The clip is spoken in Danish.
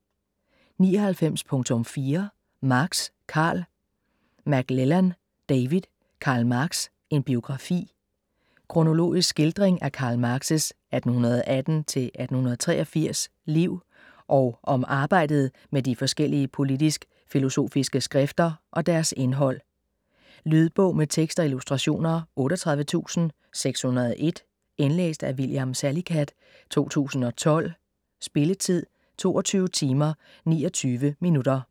99.4 Marx, Karl McLellan, David: Karl Marx: en biografi Kronologisk skildring af Karl Marx' (1818-1883) liv, og om arbejdet med de forskellige politisk-filosofike skrifter og deres indhold. Lydbog med tekst og illustrationer 38601 Indlæst af William Salicath, 2012. Spilletid: 22 timer, 29 minutter.